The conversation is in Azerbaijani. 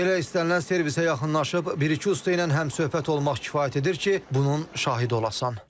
Elə istənilən servisə yaxınlaşıb bir-iki usta ilə həmsöhbət olmaq kifayət edir ki, bunun şahidi olasan.